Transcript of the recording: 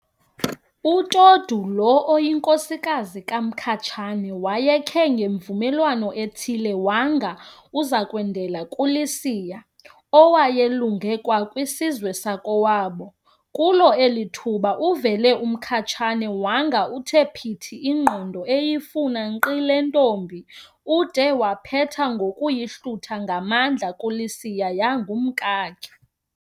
UTodu lo oyinkosikazi kaMkhatshane wayekhe ngemvumelwano ethile wanga uzakwendela kuLisiya, Lesia, owayelunge kwakwisizwe sakowabo. Kulo eli thuba uvele uMkhatshane wanga uthe phithi ingqondo eyifuna nkqi le ntombi, ude waphetha ngokuyihlutha ngamandla kuLisiya, yangumkakhe.